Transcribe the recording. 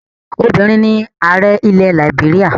Obìnrin ni ààrẹ ilẹ̀ làìbéríà.